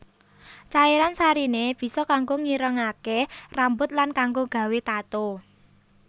Cairan sariné bisa kanggo ngirengaké rambut lan kanggo gawé tato